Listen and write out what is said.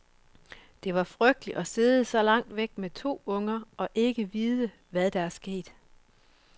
Det var frygteligt at sidde så langt væk med to unger og ikke vide, hvad der er sket.